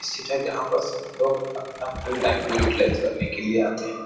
सथित है जहाँ पस लोग अपना फ्री टाइम को युटीलाइस करने के लिए आते है।